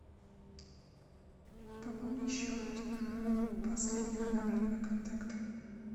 пополни счет последнего набранного контакта